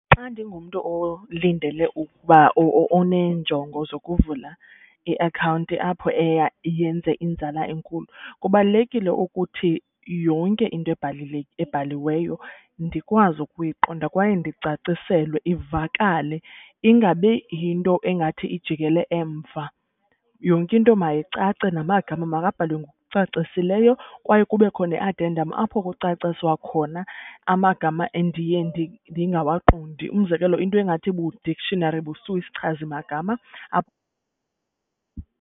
Xa ndingumntu olindele ukuba, oneenjongo zokuvula iakhawunti apho eya yenze inzala enkulu. Kubalulekile ukuthi yonke into ebhaliweyo ndikwazi ukuyiqonda kwaye ndicaciselwe ivakale. Ingab yinto engathi ijikele emva, yonke into mayicace namagama makabhalwe ngokucacisileyo kwaye kubekho ne-addendum apho kucaciswa khona amagama endiye ndingawaqondi. Umzekelo, into engathi ibu-dictionary , isichazi magama .